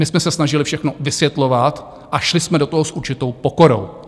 My jsme se snažili všechno vysvětlovat a šli jsme do toho s určitou pokorou.